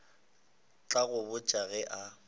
tla go botša ge a